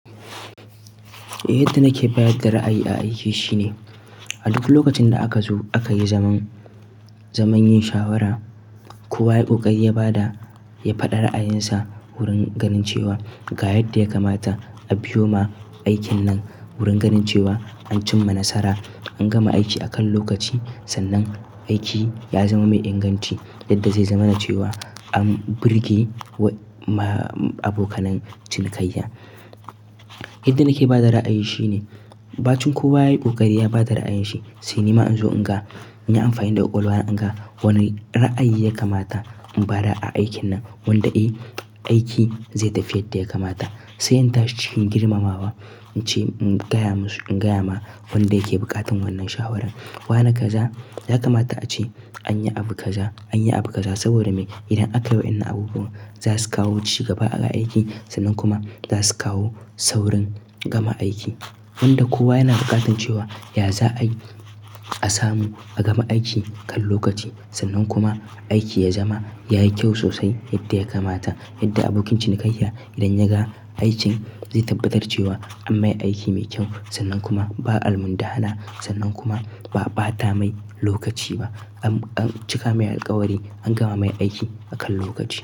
Yadda nake bayar da ra'ayi a aiki shine, a duk lokacin da aka zo aka yi zaman, zaman yin shawara kowa ya yi ƙoƙari ya ba da, ya faɗi ra'ayinsa wurin ganin cewa ga yadda ya kamata a biyo ma aikin nan wurin ganin cewa an cimma nasara, an gama aiki a kan lokaci sannan aiki ya zama mai inganci yadda zai zama na cewa an birge wa ma abokanan cinikayya. Yadda nake ba da ra'ayi shine, bacin kowa ya yi ƙoƙari ya ba da ra'ayin shi. Sai ni ma in zo in ga, in yi amfani da ƙwaƙwalwa na in ga wane ra'ayi ya kamata in bada a aikin nan wanda eh aiki zai tafi yadda ya kamata. Sai in tashi cikin girmamawa ince in gaya masu, in gaya ma wanda yake buƙatan wannan shawarar. Wane kaza, ya kamata a ce an yi abu kaza, an yi abu kaza saboda me? Idan akayi wa'yannan abubuwan za su kawo cigaba a aiki sannan kuma za su kawo saurin gama aiki. Wanda kowa yana buƙatan cewa, ya za'ai a samu a gama aiki kan lokaci sannan kuma aiki ya zama, yayi kyau sosai yadda ya kamata. Yadda abokin cinikayya idan ya ga aikin zai tabbatar cewa an mai aiki mai kyau sannan kuma ba almundahana sannan kuma ba'a ɓata mai lokaci ba. An, an cika mai alkawari, an gama mai aiki a kan lokaci.